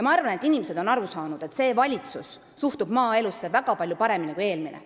Ma arvan, et inimesed on aru saanud, et see valitsus suhtub maaelusse väga palju paremini kui eelmine.